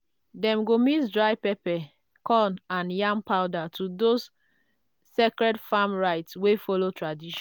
dem go mix dry pepper corn and yam powder to those sacred farm rites wey follow tradition.